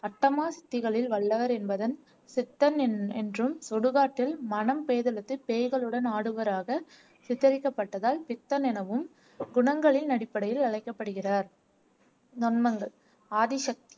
அஷ்டமா சித்திகளில் வல்லவர் என்பதன் சித்தன் என் என்றும் சுடுகாட்டில் மனம் பேதலித்து பேய்களுடன் ஆடுபவராக சித்தரிக்கப்பட்டதால் பித்தன் எனவும் குணங்களின் அடிப்படையில் அழைக்கப்படுகிறார் நொண்மங்கள் ஆதிசக்தி